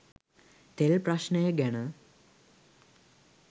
තෙල් ප්‍රශ්නය ගැන